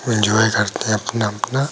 Enjoy करते है अपना-अपना।